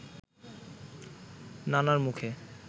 নানার মুখে